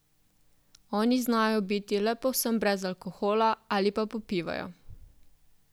Oni znajo biti le povsem brez alkohola ali pa popivajo.